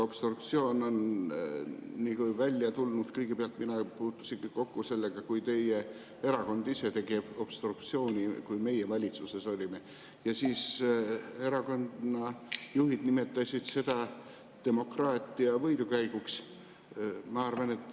Mina puutusin sellega kõigepealt kokku siis, kui teie erakond tegi obstruktsiooni, kui meie valitsuses olime, ja siis erakonnajuhid nimetasid seda demokraatia võidukäiguks.